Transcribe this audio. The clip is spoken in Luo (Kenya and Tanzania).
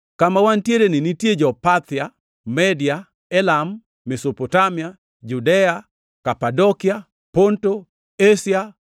Kama wantiereni nitie jo-Parthia, Media, Elam, Mesopotamia, Judea, Kapadokia, Ponto, Asia,